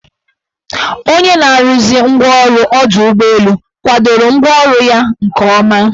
Onye na-arụzi ngwaọrụ ọdọụgbọelu kwadoro ngwaọrụ ya nke ọma.